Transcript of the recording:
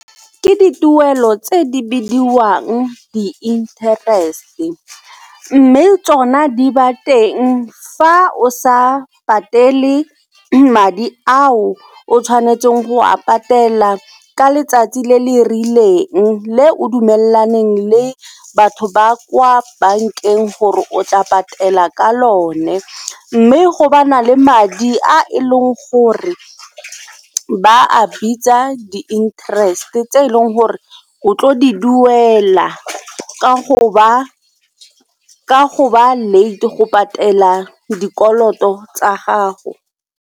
Ke dituelo tse di bidiwang di-interest-e mme tsona di ba teng fa o sa patele madi ao o tshwanetseng go a patela ka letsatsi le le rileng le o dumelelaneng le batho ba kwa bankeng gore o tla patela ka lone. Mme go bana le madi a e leng gore ba a bitsa di interest tse e leng gore o tlo di duela ka go ba late go patela dikoloto tsa gago.